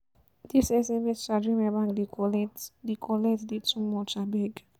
Dis sms charge wey my bank dey collect dey collect dey too much abeg.